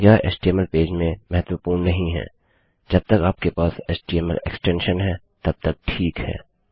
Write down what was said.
यह HTML page में महत्वपूर्ण नहीं है जब तक आपके पास एचटीएमएल एक्सटेंशन है तब तक ठीक है